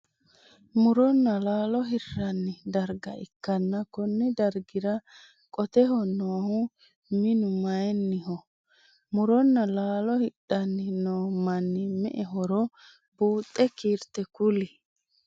Muronna laallo hiranni darga ikanna konni dargira qoteho noohu minu mayinniho? Muronna laallo hidhanni noo manni me"ehohoro buuxe kiirte kuli?